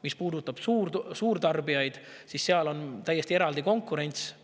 Mis puudutab suurtarbijaid, siis seal on täiesti eraldi konkurents.